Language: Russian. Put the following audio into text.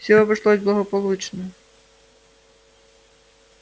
всё обошлось благополучно